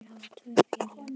Þeir hafa tvö félög.